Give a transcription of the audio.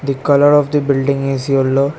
The colour of the building is yellow.